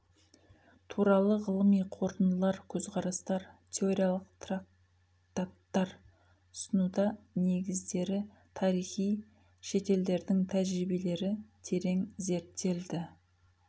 туралы ғылыми қорытындылар көзқарастар теориялық трактаттар ұсынуда негіздері тарихы шетелдердің тәжірибелері терең зерттелді